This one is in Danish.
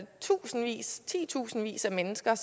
tusindvis titusindvis af mennesker